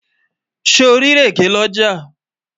sò rí ìrèké l'ọja?